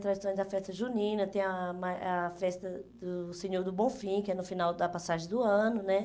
Tem a tradição da festa junina, tem a a festa do Senhor do Bom Fim, que é no final da passagem do ano, né?